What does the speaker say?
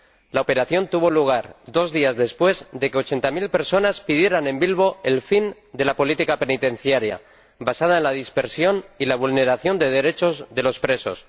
La operación tuvo lugar dos días después de que ochenta mil personas pidieran en Bilbo el fin de la política penitenciaria, basada en la dispersión y la vulneración de derechos de los presos.